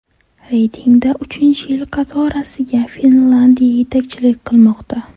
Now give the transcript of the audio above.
Reytingda uchinchi yil qatorasiga Finlyandiya yetakchilik qilmoqda.